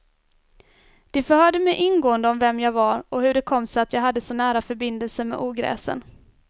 De förhörde mig ingående om vem jag var och om hur det kom sig att jag hade så nära förbindelser med ogräsen.